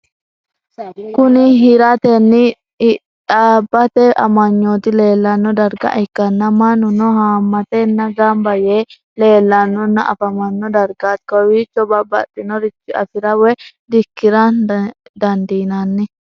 Kuni hiratena hidbate amagnoti leelanno darga ikana mannunno haamatena gamba yee leelanonna afamano dargati kowichono babaxinoricho afira woye dikiran dandinanni?